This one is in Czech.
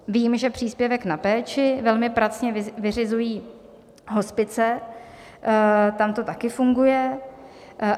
Vím, že příspěvek na péči velmi pracně vyřizují hospice, tam to taky funguje.